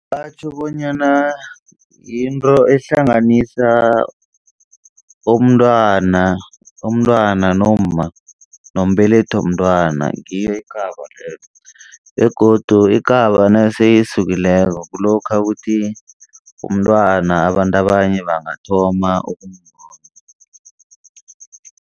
Batjho bonyana yinto ehlanganisa umntwana. Umntwana nomma nombelethi womntwana ngiyo ikaba leyo begodu ikaba nase isukileko kulokha ukuthi umntwana abantu abanye bangathoma